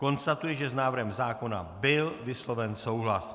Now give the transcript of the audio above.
Konstatuji, že s návrhem zákona byl vysloven souhlas.